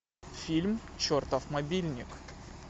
фильм чертов мобильник